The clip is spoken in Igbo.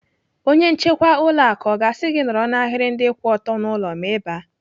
Onye nchekwa ụlọ akụ ọ ga-asị gị nọrọ n'ahiri ndị kwụ ọtọ n'ụlọ ma Ị baa?